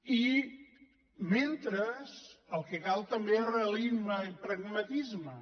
i mentre el que cal també és realisme i pragmatisme